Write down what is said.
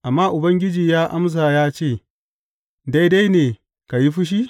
Amma Ubangiji ya amsa, ya ce; Daidai ne ka yi fushi?